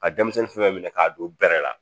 Ka denmisɛnnin fɛn minɛ k'a don bɛrɛ la